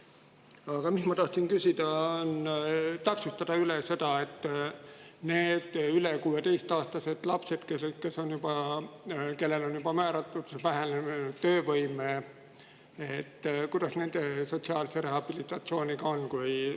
Aga ma tahan küsida seda: täpsustage üle, kuidas nende üle 16-aastaste laste, kellele on juba määratud vähenenud töövõime, sotsiaalse rehabilitatsiooniga on.